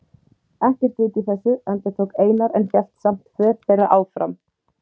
Ekkert vit í þessu, endurtók Einar en hélt samt för þeirra áfram.